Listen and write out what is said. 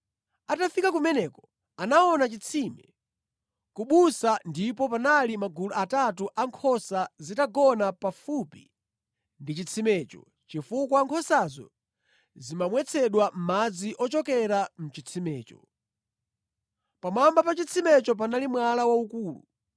Atafika kumeneko anaona chitsime ku busa ndipo panali magulu atatu a nkhosa zitagona pafupi ndi chitsimecho chifukwa nkhosazo zimamwetsedwa madzi ochokera mʼchitsimecho. Pamwamba pa chitsimecho panali mwala waukulu.